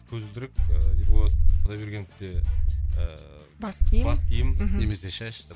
көзілдірік ііі ерболат құдайбергеновте ііі бас киім бас киім немесе шаш де